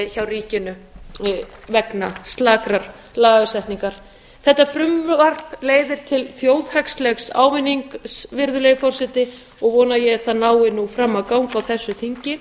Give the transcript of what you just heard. hjá ríkinu vegna slakrar lagasetningar þetta frumvarp leiðir til þjóðhagslegs ávinnings virðulegi forseti og vona ég að það nái nú fram að ganga á þessu þingi